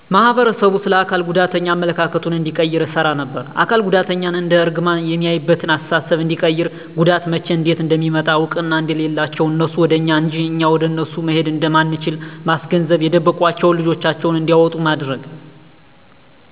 ማህበረሰቡ ስለ አካል ጉዳተኛ አመለካከቱን እንዲቀይር እሰራ ነበር። አካል ጉዳትን እንደ እርግማን ሚያይበትን አስተሳሰብ እንዲቀይር ጉዳት መቸ እንዴት እንደሚመጣ እውቅና እንደሌላቸው እነሱ ወደ እኛ እንጅ እኛ ወደ እነሱ መሄድ እንደማንችል ማስገንዘብ የደበቋቸውን ልጆቻቸውን እንዲያወጡ ማድረግ።